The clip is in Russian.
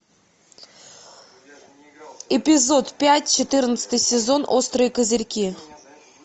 эпизод пять четырнадцатый сезон острые козырьки